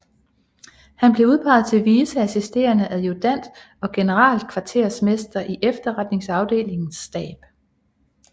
Han blev udpeget til vice assisterende adjutant og generalkvartermester i efterretningsafdelingens stab